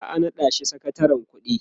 za'a naɗa shi sakatarin ƙuɗi